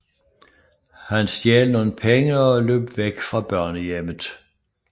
Han stjal nogle penge og løb væk fra børnehjemmet